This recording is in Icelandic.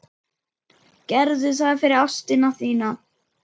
Gerðu það fyrir ástina þína.